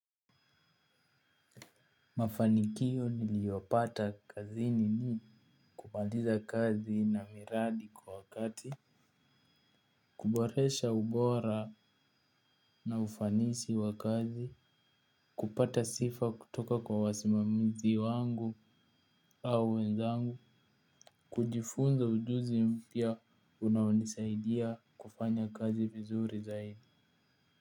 Mafanikio niliyopata kazini ni kumaliza kazi na miradi kwa wakati. Kuboresha ubora na ufanisi wa kazi kupata sifa kutoka kwa wasimamizi wangu au wenzangu kujifunza ujuzi mpya unaonisaidia kufanya kazi vizuri zaidi.